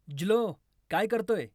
ज्लो काय करतोय